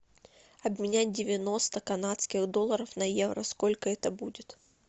обменять девяносто канадских долларов на евро сколько это будет